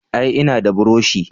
Ae, ina da burushi